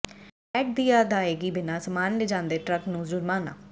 VAT ਦੀ ਅਦਾਇਗੀ ਬਿਨਾਂ ਸਾਮਾਨ ਲਿਜਾਂਦੇ ਟਰੱਕ ਨੂੰ ਜੁਰਮਾਨਾ